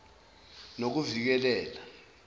nokuvikeleka